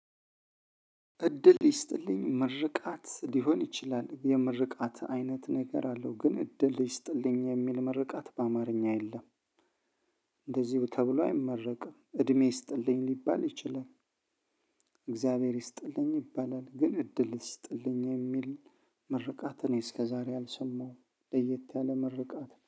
እድል ይስጥልኝ ምርቃት ሊሆን ይችላል የምርቃት አይነት ነገር አለው ግን እድል ይስጥልኝ የሚል ምርቃት በአማርኛ የለም። እንደዚሁ ተብሎ አይመረቅም እድሜ ይስጥልኝ ሊባል ይችላል። እግዚአብሔር ይስጥልኝ ይባላል ግን እድል ይስጥልኝ የሚል ምርቃት እኔ እስከዛሬ አልሰማሁም ለየት ያለ ምርቃት ነው